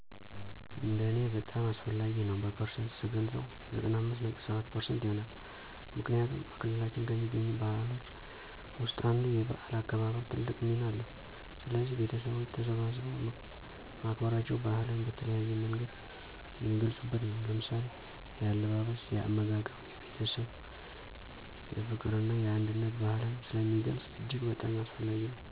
እንደ እኔ በጣም አስፈላጊ ነው በፐርሰንት ስገልፀው 95.7% ይሆናል። ምክንያቱም፦ በክልላችን ከሚገኙት ባህሎች ውስጥ አንዱ 'የበዓል' አከባበር ትልቅ ሚና አለው። ስለዚህ ቤተሠቦች ተሠባስበው ማክበራቸው ባህልን በተለያየ መንገድ የሚገልፁበት ነው። ለምሳሌ፦ የአለባበስ፣ የአመጋገብ፣ የቤተሰብ፣ የፍቅር እና የአንድነት ባህልን ስለሚገልፅ እጅግ በጣም አስፈላጊ ነው።